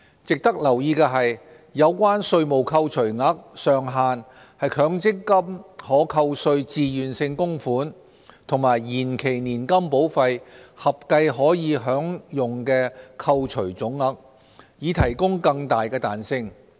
值得留意的是，有關稅務扣除額上限是強積金可扣稅自願性供款和延期年金保費合計可享的扣除總額，以提供更大彈性。